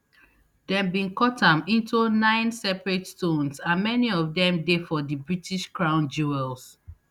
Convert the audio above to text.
dem bin cut am into nine separate stones and many of dem dey for di british crown jewels